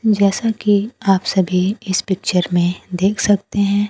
जैसा कि आप सभी इस पिक्चर में देख सकते हैं।